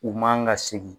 U man ka segin